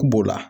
B'o la